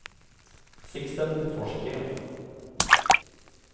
Sixten Forsgren